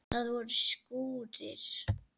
Það voru skúrir.